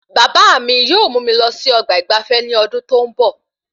Bàbá mí yóò mú mi lọ sí ọgbà ìgbafé ní ọdún tó n bọ